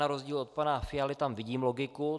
Na rozdíl od pana Fialy tam vidím logiku.